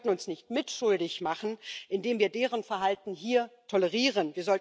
Wir sollten uns nicht mitschuldig machen, indem wir deren Verhalten hier tolerieren.